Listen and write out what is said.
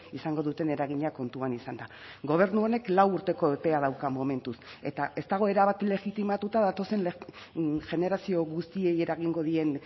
izango duten eragina kontuan izanda gobernu honek lau urteko epea dauka momentuz eta ez dago erabat legitimatuta datozen generazio guztiei eragingo dien